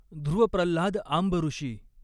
धृव Pralhad आंबॠषी।